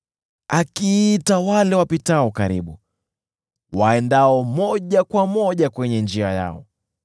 akiita wale wapitao karibu, waendao moja kwa moja kwenye njia yao.